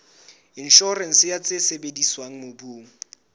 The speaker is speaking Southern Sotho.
inshorense ya tse sebediswang mobung